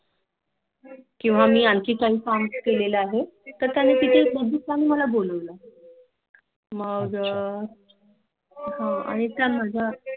किंव मी आणखी Confirm केले आहे तर त्यांनी अच्छा मग आणि अं